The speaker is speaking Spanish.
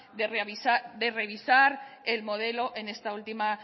de revisar el modelo en esta última